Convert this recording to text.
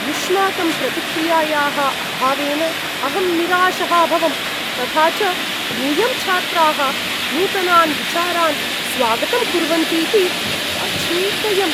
युष्माकं प्रतिक्रियायाः अभावेन अहं निराशः अभवं, तथा च यूयं छात्राः नूतनान् विचारान् स्वागतं कुर्वर्न्तीति अचिन्तयम्।